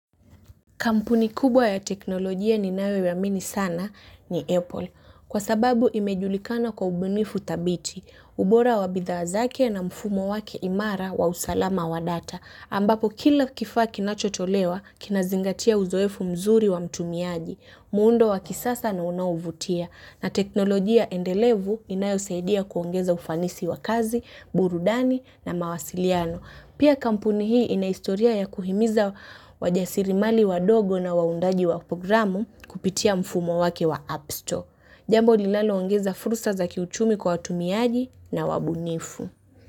Kampuni kubwa ya teknolojia ninayo iamini sana ni Apple. Kwa sababu imejulikana kwa ubunifu thabiti. Ubora wa bidhaa zake na mfumo wake imara wa usalama wa data. Ambapo kila kifaa kinachotolewa kinazingatia uzoefu mzuri wa mtumiaji. Muundo wa kisasa na unaovutia. Na teknolojia endelevu inayo saidia kuongeza ufanisi wa kazi, burudani na mawasiliano. Pia kampuni hii ina historia ya kuhimiza wajasirimali wadogo na waundaji wa programu kupitia mfumo wake wa app store jambo linaloongeza fursa za kiuchumi kwa watumiaji na wabunifu.